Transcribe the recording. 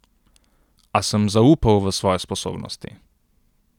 A sem zaupal v svoje sposobnosti.